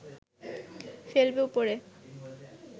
ফেলবে উপড়ে